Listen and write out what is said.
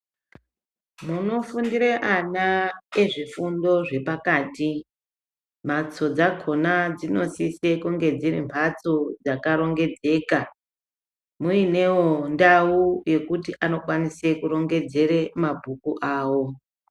Munofundire ana ezvifundo zvepakati mhatso dzakona dzinosose kunge dziri mhatso dzakarongedzeka, muinewo ndau yekuti anokwanise kurongedzere mabhuku awo.